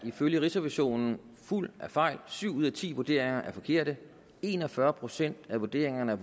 ifølge rigsrevisionen er fuldt af fejl syv ud af ti vurderinger er forkerte en og fyrre procent af vurderingerne er